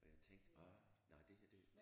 Og jeg tænkte ah nej det her det